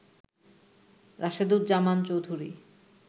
Rasheduzzaman Chowdhury